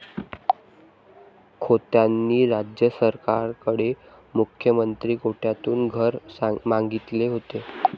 खोतांनी राज्य सरकारकडे मुख्यमंत्री कोट्यातून घर मागितले होते.